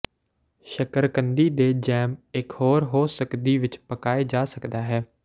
ਸ਼ੱਕਰਕੰਦੀ ਦੇ ਜੈਮ ਇਕ ਹੋਰ ਹੋ ਸਕਦੀ ਵਿਚ ਪਕਾਏ ਜਾ ਸਕਦਾ ਹੈ